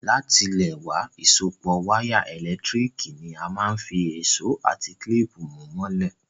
Látilẹ̀wá, ìsopọ́ wire ẹ́lẹ̀ntirikì ni a máa n fi ìsó àti clip mú mọ́lẹ̀